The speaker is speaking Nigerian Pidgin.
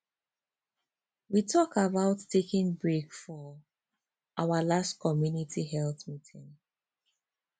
we talk about taking break for our last community health meeting